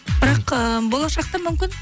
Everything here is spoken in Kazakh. бірақ ы болашақта мүмкін